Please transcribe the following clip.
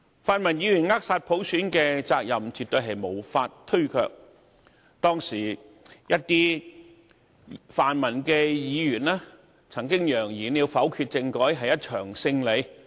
泛民議員扼殺普選的責任絕對無法推卻，當時一些泛民議員曾揚言否決政改是一場勝利。